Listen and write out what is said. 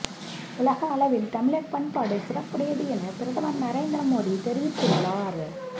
உலகளவில் தமிழர் பண்பாடு சிறப்புடையது என பிரதமர் நரேந்திர மோடி தெரிவித்துள்ளார்